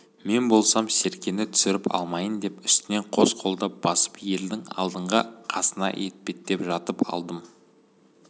мен болсам серкені түсіріп алмайын деп үстінен қос қолдап басып ердің алдыңғы қасына етпеттеп жатып алдым